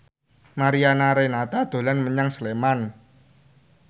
Mariana Renata dolan menyang Sleman